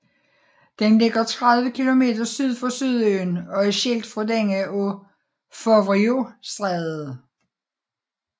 Den ligger 30 kilometer syd for Sydøen og er skilt fra denne af Foveauxstrædet